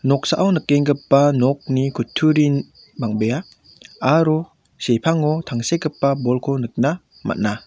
noksao nikenggipa nokni kutturin bang·bea aro sepango tangsekgipa bolko nikna man·a.